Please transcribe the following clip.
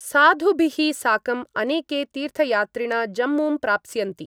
साधुभिः साकं अनेके तीर्थयात्रिण जम्मूं प्राप्स्यन्ति।